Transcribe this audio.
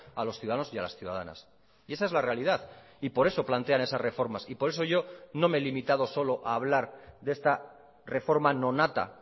a los ciudadanos y a las ciudadanas y esa es la realidad y por eso plantean esas reformas y por eso yo no me he limitado solo a hablar de esta reforma no nata